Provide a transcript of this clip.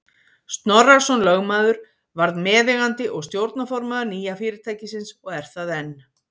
Snorrason lögmaður varð meðeigandi og stjórnarformaður nýja fyrirtækisins og er það enn.